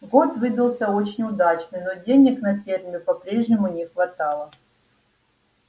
год выдался очень удачный но денег на ферме по-прежнему не хватало